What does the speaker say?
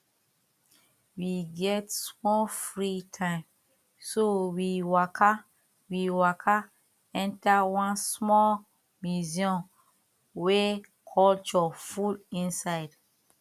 we get small free time so we waka we waka enter one small museum wey culture full inside